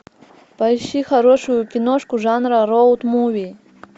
поищи хорошую киношку жанра роуд муви